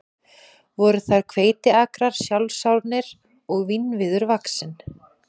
Voru þar hveitiakrar sjálfsánir og vínviður vaxinn.